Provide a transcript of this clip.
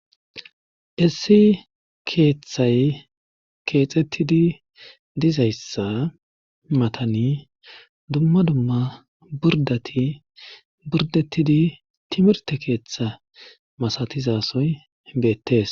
issi keeththay keexettidi dizayssa matani dumma dumma burdati burdettidi timirte keeththa masatizasoy beettes